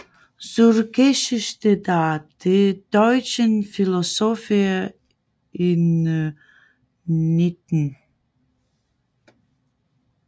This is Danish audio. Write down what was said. Zur Geschichte der deutschen Philosophie im XIX